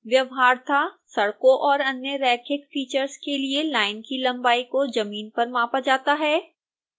व्यवहारतः सड़कों और अन्य रैखिक फीचर्स के लिए लाइन की लंबाई को जमीन पर मापा जाता है